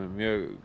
mjög